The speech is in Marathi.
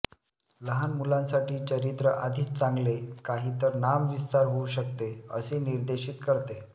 लहान मुलांसाठी चरित्र आधीच चांगले काही तर नामविस्तार होऊ शकते असे निर्देशीत करते